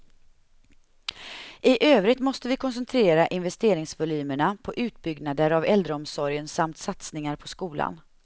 I övrigt måste vi koncentrera investeringsvolymerna på utbyggnader av äldreomsorgen samt satsningar på skolan.